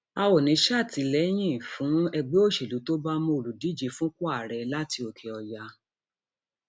a ò ní í sàtìlẹyìn fún um ẹgbẹ òṣèlú tó bá mú òǹdíje fúnpọ ààrẹ láti òkèọyà um